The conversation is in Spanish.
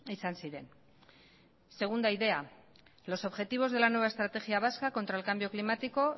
izan ziren segunda idea los objetivos de la nueva estrategia vasca contra el cambio climático